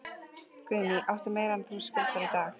Guðný: Áttu meira en þú skuldar í dag?